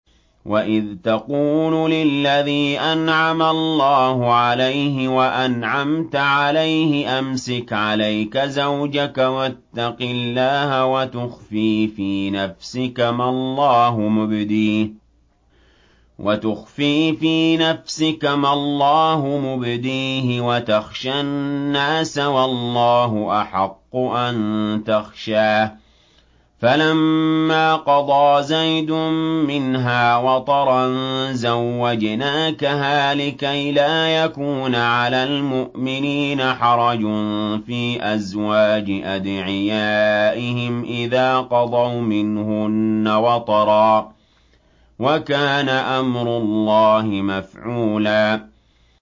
وَإِذْ تَقُولُ لِلَّذِي أَنْعَمَ اللَّهُ عَلَيْهِ وَأَنْعَمْتَ عَلَيْهِ أَمْسِكْ عَلَيْكَ زَوْجَكَ وَاتَّقِ اللَّهَ وَتُخْفِي فِي نَفْسِكَ مَا اللَّهُ مُبْدِيهِ وَتَخْشَى النَّاسَ وَاللَّهُ أَحَقُّ أَن تَخْشَاهُ ۖ فَلَمَّا قَضَىٰ زَيْدٌ مِّنْهَا وَطَرًا زَوَّجْنَاكَهَا لِكَيْ لَا يَكُونَ عَلَى الْمُؤْمِنِينَ حَرَجٌ فِي أَزْوَاجِ أَدْعِيَائِهِمْ إِذَا قَضَوْا مِنْهُنَّ وَطَرًا ۚ وَكَانَ أَمْرُ اللَّهِ مَفْعُولًا